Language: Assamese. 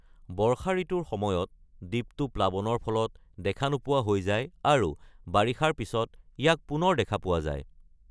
বৰ্ষা ঋতুৰ সময়ত দ্বীপটো প্লাৱনৰ ফলত দেখা নোপোৱা হৈ যায়, আৰু বাৰিষাৰ পিছত ইয়াক পুনৰ দেখা পোৱা যায়।